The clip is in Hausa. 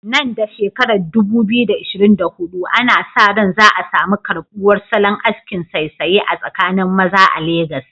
Nan da shekarar 2024, ana sa ran za a samu karbuwar salon askin saisaye a tsakanin maza a Legas.